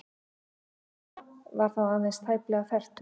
Tesla var þá aðeins tæplega fertugur.